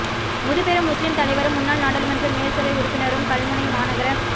முதுபெரும் முஸ்லிம் தலைவரும் முன்னாள் நாடாளுமன்ற மேல் சபை உறுப்பினரும் கல்முனை மாநகர